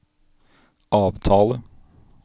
avtale